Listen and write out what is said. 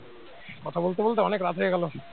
কথা বলতে বলতে অনেক রাত হয়ে গেল